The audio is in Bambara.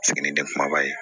Ni den kumaba ye